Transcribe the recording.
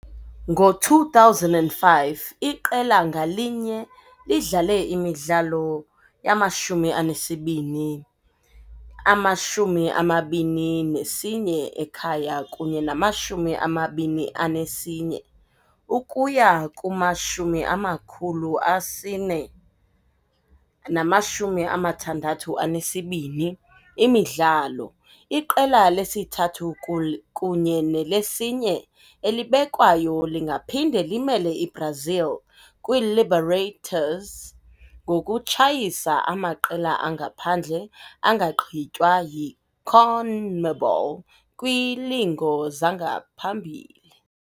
Ngo-2005, iqela ngalinye lidlale imidlalo yamashumi anesibini, ama-21 ekhaya kunye ne-21, ukuya kumashumi amakhulu asine namshumi amathandathu anesibini imidlalo. Iqela lesithathu kul kunye neyesine elibekwayo lingaphinda limele iBrazil kwiiLebertadores ngokutshayisa amaqela angaphandle angagqitywa yiConmebol kwiilingo zangaphambili.